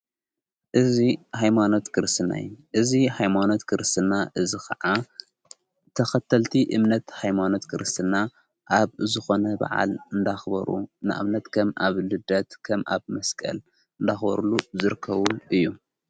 እዚ ኃይማኖት ክርስትናይ እዙ ኃይማኖት ክርስትና እዝ ኸዓ ተኸተልቲ እምነት ኃይማኖት ክርስትና ኣብ ዝኾነ በዓል እንዳኽበሩ ንእምነት ከም ኣብ ልደት ከም ኣብ መስቀል እንዳኽበሩሉ ዘርከቡሉ እዩ::